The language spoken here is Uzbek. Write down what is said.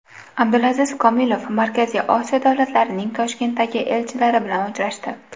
Abdulaziz Komilov Markaziy Osiyo davlatlarining Toshkentdagi elchilari bilan uchrashdi.